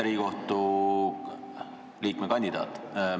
Riigikohtu liikme kandidaat!